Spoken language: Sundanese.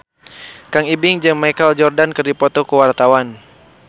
Kang Ibing jeung Michael Jordan keur dipoto ku wartawan